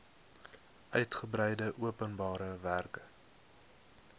uitgebreide openbare werke